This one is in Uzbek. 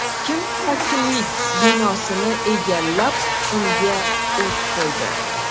Kim hokimlik binosini egallab, unga o‘t qo‘ydi?